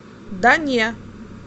да не